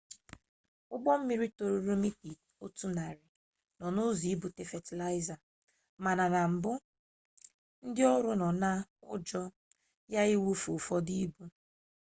ụgbọ mmiri toruru mita otu narị nọ n'ụzọ ibute fatịlaịza mana na mbụ ndị ọrụ nọ n'ụjọ ya iwufu ụfọdụ ibu